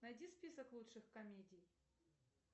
найди список лучших комедий